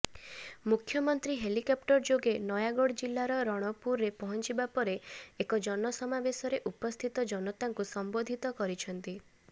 ମୁଖ୍ୟମନ୍ତ୍ରୀ ହେଲିକପ୍ଟର ଯୋଗେ ନୟାଗଡ ଜିଲ୍ଲାର ରଣପୁରରେ ପହଞ୍ଚିବା ପରେ ଏକ ଜନସମାବେଶରେ ଉପସ୍ଥିତ ଜନତାଙ୍କୁ ସମ୍ବୋଧିତ କରିଛନ୍ତି